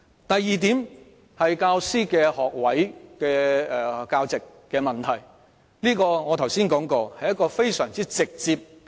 第二點是教師學位教席的問題，我剛才已指出這是非常簡單直接的事。